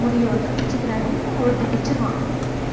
முடியை வந்து பிச்சுக்கிறாது ஒருத்தர் பிச்சிருவான்